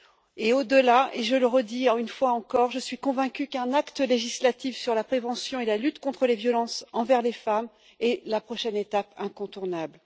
Et au delà et je le répète je suis convaincue qu'un acte législatif sur la prévention et la lutte contre les violences envers les femmes est la prochaine étape incontournable.